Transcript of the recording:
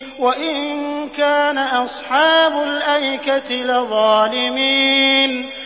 وَإِن كَانَ أَصْحَابُ الْأَيْكَةِ لَظَالِمِينَ